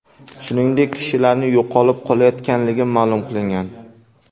Shuningdek, kishilarning yo‘qolib qolayotganligi ma’lum qilingan.